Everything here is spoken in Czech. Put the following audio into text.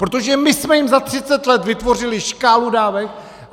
Protože my jsme jim za 30 let vytvořili škálu dávek.